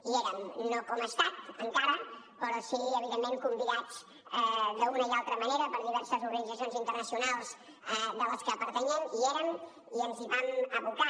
hi érem no com a estat encara però sí evidentment convidats d’una o altra manera per diverses organitzacions internacionals a les quals pertanyem hi érem i ens hi vam abocar